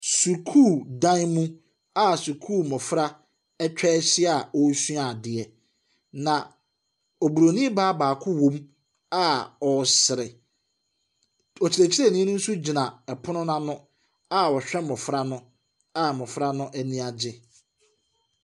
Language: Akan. Sukuu dan mu a sukuu mmɔfra atwa ahyia a wɔresua adeɛ, na oburoni baa baako wom a ɔresere. Ɔkyerɛkyerɛni no nso gyina ɔpono no ano a ɔhwɛ mmɔfra no a mmɔfra no ani agye.